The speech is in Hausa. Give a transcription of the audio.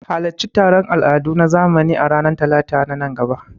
Halarci taron al'adu na zamani a ranar Talata a nan gaba.